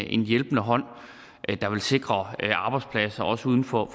en hjælpende hånd der vil sikre arbejdspladser også uden for